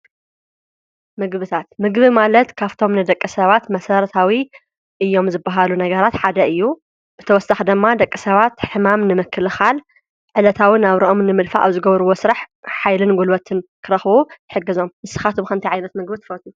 ምግብታት ምግቢ ማለት ካፍቶም ነደቀ ሰባት መሠረታዊ እዮም ዝበሃሉ ነገራት ሓደ እዩ ብተወስታኽ ደማ ደቀ ሰባት ሕማም ንምክልኻል ዕለታውን ኣብ ሮኦም ንምልፋ ኣብ ዝገብርዎ ሥራሕ ኃይልን ጕልበትን ክረኽዉ ይሕገዞም ንስኻቶምኸንቲይ ዓይነት ምግብት ፈቱኑ።